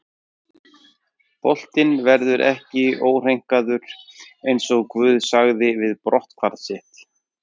Boltinn verður ekki óhreinkaður, eins og GUÐ sagði við brotthvarf sitt.